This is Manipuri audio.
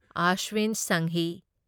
ꯑꯁ꯭ꯋꯤꯟ ꯁꯪꯍꯤ